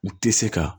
U tɛ se ka